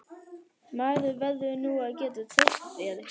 Maður verður nú að geta treyst þér!